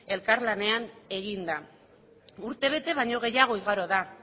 elkarlanean eginda urtebete baino gehiago igaro da